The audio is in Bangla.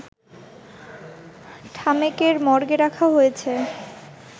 ঢামেকের মর্গে রাখা হয়েছে